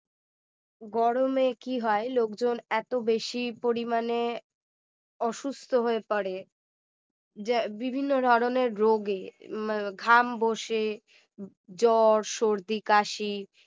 গরমে কি হয় লোকজন এত বেশি পরিমাণে অসুস্থ হয়ে পড়ে বিভিন্ন ধরনের রোগে ঘাম বসে জ্বর সর্দি কাশি